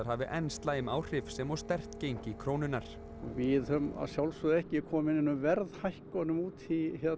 hafi enn slæm áhrif sem og sterkt gengi krónunnar við höfum að sjálfsögðu ekki komið neinum verðhækkunum út